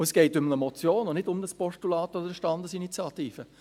Es geht um eine Motion und nicht um ein Postulat oder eine Standesinitiative.